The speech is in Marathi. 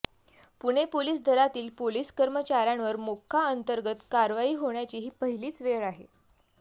पुणे पोलीस दलातील पोलीस कर्मचाऱ्यांवर मोक्का अंतर्गत कारवाई होण्याची ही पहिलीच वेळ आहे